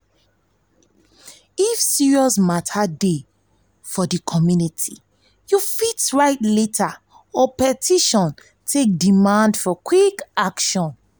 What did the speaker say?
if serious mata dey for di community you fit write letter or petition take demand for quick action.